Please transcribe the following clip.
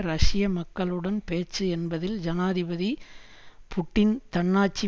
ரஷ்ய மக்களுடன் பேச்சு என்பதில் ஜனாதிபதி புட்டின் தன்னாட்சி